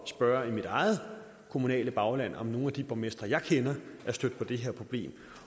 spørge i mit eget kommunale bagland om nogle af de borgmestre jeg kender er stødt på det her problem